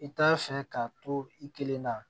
I t'a fɛ k'a to i kelen na